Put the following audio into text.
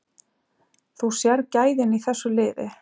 Þú sérð gæðin í þessu liði.